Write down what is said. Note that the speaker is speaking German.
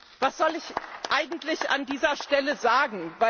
ist. Was soll ich eigentlich an dieser Stelle sagen?